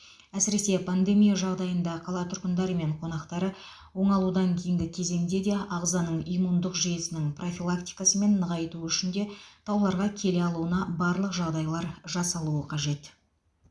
әсіресе пандемия жағдайында қала тұрғындары мен қонақтары оңалудан кейінгі кезеңде де ағзаның иммундық жүйесінің профилактикасы мен нығайтуы үшін де тауларға келе алуына барлық жағдайлар жасалуы қажет